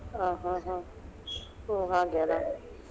ಹ ಹ ಹ ಹೊ ಹಾಗೆ ಅಲಾ.